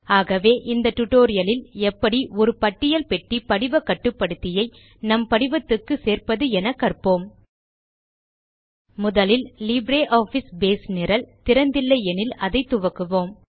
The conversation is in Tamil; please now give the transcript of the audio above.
ஆகவே இந்த டியூட்டோரியல் இல் எப்படி ஒரு பட்டியல் பெட்டி படிவ கட்டுப்படுத்தியை நம் படிவத்துக்கு சேர்ப்பது என நாம் கற்போம் முதலில் லிப்ரியாஃபிஸ் பேஸ் நிரல் திறந்து இல்லை எனில் அதை துவக்குவோம்